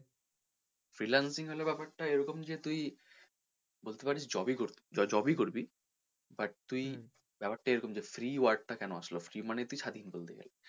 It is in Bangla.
Freelancing হলো ব্যাপার টা এরকম যে তুই বলতে পারিস তুই j~job ই করবি but তুই ব্যাপারটা এরকম যে free word টা কেন আসলো free মানে তুই স্বাধীন বলতে গেলে।